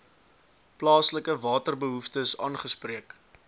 plaaslike waterbehoeftes aangespreek